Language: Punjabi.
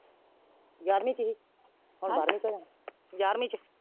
ਯਾਰਵੀਂ ਹੀ ਸੀ ਹੁਣ ਬਾਰਵੀ ਚ ਹੋਣਾ ਯਾਰਵੀ ਚ।